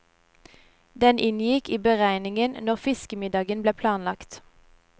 Den inngikk i beregningen når fiskemiddagen ble planlagt.